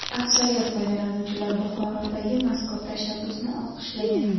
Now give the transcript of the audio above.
Aksariyat foydalanuvchilar Buxorodagi mazkur tashabbusni olqishlagan.